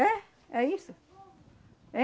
É. É isso.